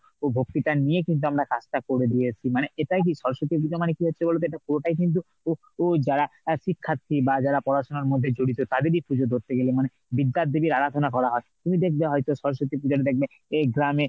ভক্তিটা নিয়ে কিন্তু আমরা কাজটা করে দিয়ে এসেছি মানে এটাই কি স্বরস্বতী পুজো মানে কি হচ্ছে বলতো? এটা পুরোটাই কিন্তু ও~ যারা শিক্ষার্থী বা যারা পড়াশোনার মধ্যে জড়িত তাদেরই পুজো ধরতে গেলে মানে বিদ্যার দেবীর আরাধনা করা হয় । আর তুমি দেখবে হয়তো সরস্বতী পুজোতে দেখবে, এই গ্রামে